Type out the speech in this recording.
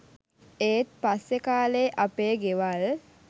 ඒත් පස්සේ කා‍ලේ අපේ ගෙවල්